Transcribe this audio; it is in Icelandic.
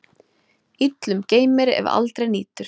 Illum geymir, ef aldrei nýtur.